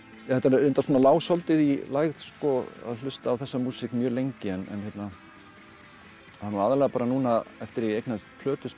þetta reyndar lá svolítið í lægð að hlusta á þessa músík mjög lengi en það er aðallega núna eftir að ég eignaðist plötuspilara